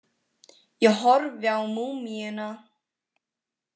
Ég horfi á múmíuna.